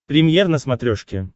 премьер на смотрешке